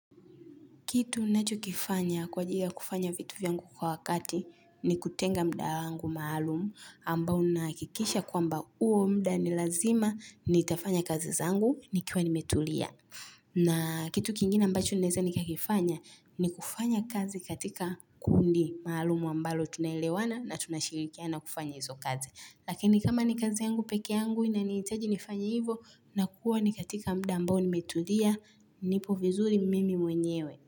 Kitu nacho kifanya kwa ajili kufanya vitu vyangu kwa wakati ni kutenga mda angu maalumu ambao nakikisha kwamba uo mda nilazima nitafanya kazi zangu nikiwa nimetulia. Na kitu kingine ambacho naeza nikakifanya ni kufanya kazi katika kundi maalumu ambalo tunalewana na tunashirikiana kufanya hizo kazi. Lakini kama ni kazi yangu peke yangu inaniitaji nifanye hivo nakuwa ni katika mda ambao nimetulia nipo vizuri mimi mwenyewe.